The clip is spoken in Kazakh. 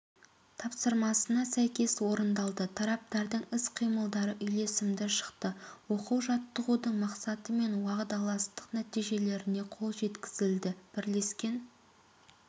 тапсырмасына сәйкес орындалды тараптардың іс-қимылдары үйлесімді шықты оқу-жаттығудың мақсаты мен уағдаластық нәтижелеріне қол жеткізілді бірлескен